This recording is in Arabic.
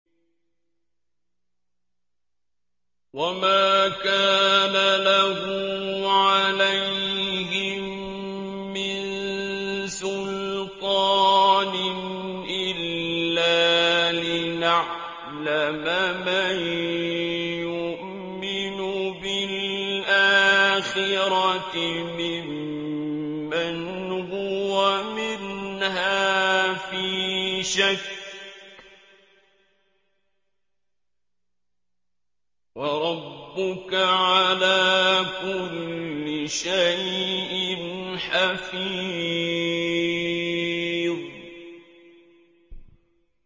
وَمَا كَانَ لَهُ عَلَيْهِم مِّن سُلْطَانٍ إِلَّا لِنَعْلَمَ مَن يُؤْمِنُ بِالْآخِرَةِ مِمَّنْ هُوَ مِنْهَا فِي شَكٍّ ۗ وَرَبُّكَ عَلَىٰ كُلِّ شَيْءٍ حَفِيظٌ